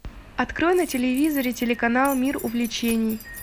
открой на телевизоре телеканал мир увлечений